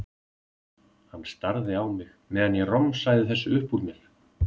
Hann starði á mig meðan ég romsaði þessu upp úr mér.